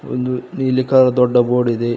ಒಂದು ನೀಲಿ ಕ ದೊಡ್ಡ ಬೋರ್ಡ್ ಇದೆ.